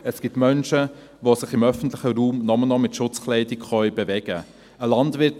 Es gibt Menschen, die sich im öffentlichen Raum nur noch mit Schutzkleidung bewegen können.